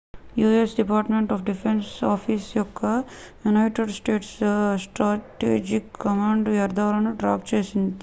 you S department defence office యొక్క United States strategic command వ్యర్ధాలని track చేస్తుంది